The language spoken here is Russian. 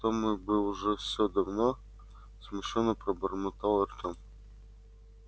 то мы бы уже все давно смущённо пробормотал артем